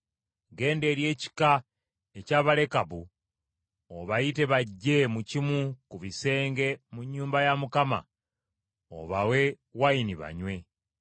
“Genda eri ekika eky’Abalekabu obayite bajje mu kimu ku bisenge mu nnyumba ya Mukama obawe envinnyo banywe.”